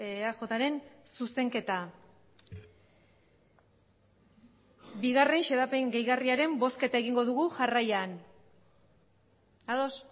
eajren zuzenketa bigarren xedapen gehigarriaren bozketa egingo dugu jarraian ados